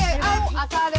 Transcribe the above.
það er